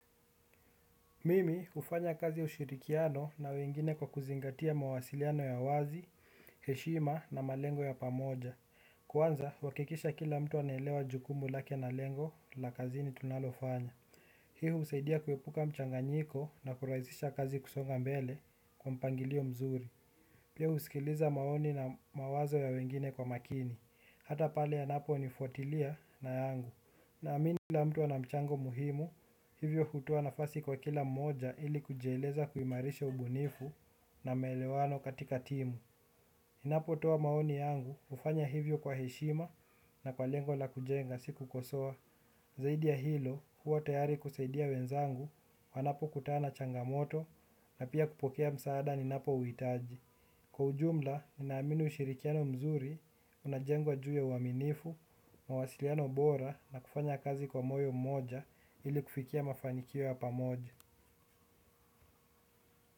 Mimi kufanya kazi ushirikiano na wengine kwa kuzingatia mawasiliano ya wazi, heshima na malengo ya pamoja. Kwanza, wakikisha kila mtu anelewa jukumu lake na lengo la kazini tunalofanya. Hi husaidia kuepuka mchanganyiko na kuraizisha kazi kusonga mbele kwa mpangilio mzuri. Pia usikiliza maoni na mawazo ya wengine kwa makini. Hata pale yanapo nifuatilia na yangu. Na amini kila mtu ana mchango muhimu hivyo hutoa nafasi kwa kila mmoja ili kujeleza kuimarisha ubunifu na melewano katika timu ninapo toa maoni yangu ufanya hivyo kwa heshima na kwa lengo la kujenga siku kosoa. Zaidi ya hilo huwa tayari kuseidia wenzangu wanapo kutana changamoto na pia kupokea msaada ninapo uhitaji. Kwa ujumla, ninamini ushirikiano mzuri, unajengwa juya uaminifu, mawasiliano bora na kufanya kazi kwa moyo mmoja ili kufikia mafanikio yapamoja.